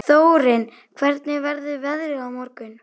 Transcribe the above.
Þórinn, hvernig verður veðrið á morgun?